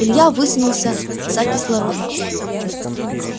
илья высунулся за кислородом